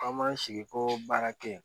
An b'an sigi ko baara kɛ yen